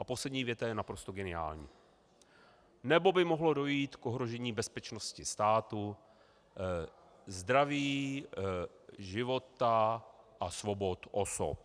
A poslední věta je naprosto geniální - nebo by mohlo dojít k ohrožení bezpečnosti státu, zdraví, života a svobod osob.